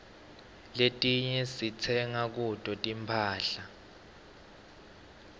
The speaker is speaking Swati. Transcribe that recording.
letinye sitsenga kuto tinphahla